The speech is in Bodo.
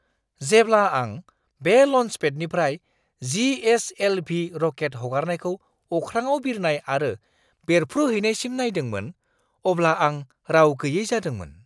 जेब्ला आं बे ल'न्सपेडनिफ्राय जी.एस.एल.भी. रकेट हगारनायखौ अख्राङाव बिरनाय आरो बेरफ्रुहैनायसिम नायदोंमोन, अब्ला आं राव गैयै जादोंमोन!